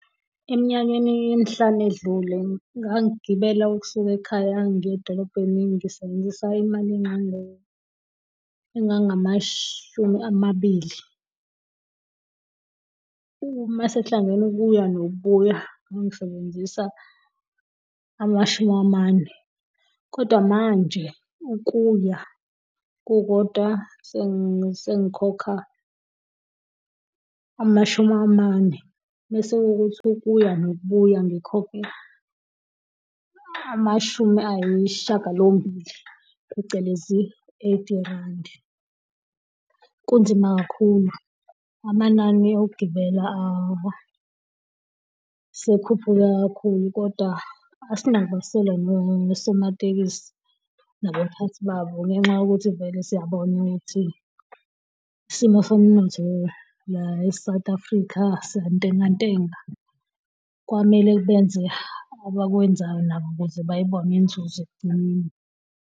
Eminyakeni emihlanu edlule, ngangibela ukusuka ekhaya ngiye dolobheni ngisebenzisa imali engango, engangamashumi amabili. Uma sekuhlangene ukuya nokubuya, ngangisebenzisa amashumi amane. Kodwa manje, ukuya kukodwa sengikhokha amashumi amane. Bese kuwukuthi ukuya nokubuya ngikhokhe, amashumi ayisishiyagalombili, phecelezi eighty rand. Kunzima kakhulu, amanani okugibela asekhuphuke kakhulu kodwa, nosomatekisi nabaphathi babo, ngenxa yokuthi vele siyabona ukuthi, isimo somnotho la e-South Africa siyantenga ntenga. kwamele benze abakwenzayo nabo ukuze bayibone inzuzo ekugcineni.